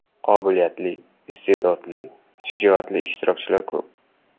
Qobiliyatli, iste’dodli, shijoatli ishtirokchilar ko‘p.